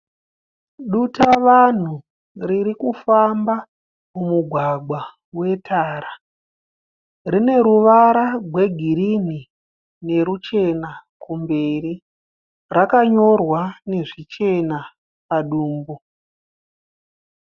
Dutavanhu ririkufamba mumugwagwa wetara. Rine ruvara gwegirini neruchena kumberi. Rakanyorwa nezvichena padumbu.